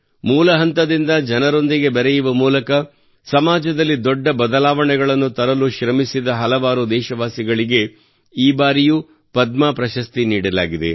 ಮೂಲ ಹಂತದಿಂದ ಜನರೊಂದಿಗೆ ಬೆರೆಯುವ ಮೂಲಕ ಸಮಾಜದಲ್ಲಿ ದೊಡ್ಡ ಬದಲಾವಣೆಗಳನ್ನು ತರಲು ಶ್ರಮಿಸಿದ ಹಲವಾರು ದೇಶವಾಸಿಗಳಿಗೆ ಈ ಬಾರಿಯೂ ಪದ್ಮ ಪ್ರಶಸ್ತಿ ನೀಡಲಾಗಿದೆ